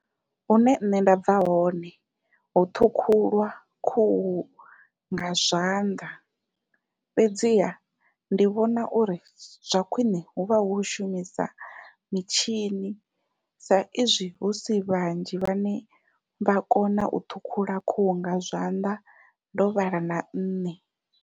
Hune nṋe nda bva hone hu ṱhukhulwa khuhu nga zwanḓa fhedziha ndi vhona uri zwa khwiṋe huvha hu u shumisa mitshini sa izwi husi vhanzhi vhane vha kona u ṱhukhula khuhu nga zwanḓa ndo vhala na nṋe.